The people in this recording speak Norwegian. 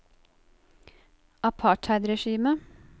apartheidregimet